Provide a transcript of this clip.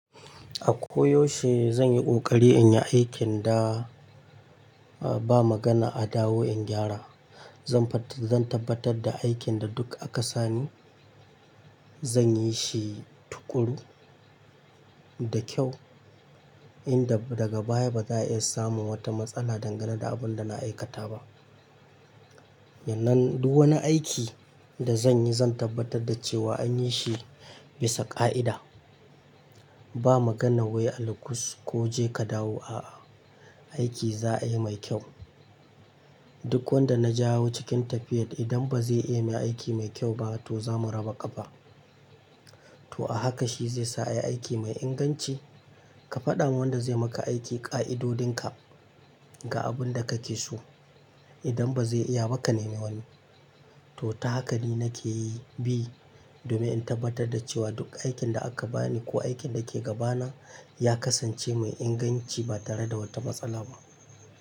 A koyaushe zan yi ƙoƙari in yi aikin da, uh, ba magana a dawo in gyara. Zan fat-- zan tabbatar da aikin da duk aka sa ni, zan yi shi tuƙuru da kyau, inda daga baya ba za a iya samun wata matsala dangane da abin da na aikata ba. Nan, duk wani aiki da zan yi zan tabbatar da cewa an yi shi bisa ƙa'ida. Ba magana wai alkus ko je ka dawo, a'a, aiki za a yi mai kyau. Duk wanda na jawo cikin tafiyar idan ba zai iya yin aiki mai kyau ba to zamu raba ƙafa. To a haka shi zai sa a yi aiki mai inganci. Ka faɗa wa wanda zai maka aiki ƙa'idodinka ga abin da kake so. Idan ba zai iya ba ka nema wani. To ta haka ni nake yi bi, domin in tabbatar da cewa duk aikin da aka bani ko aikin da ke gabana ya kasance mai inganci ba tare da wata matsala ba.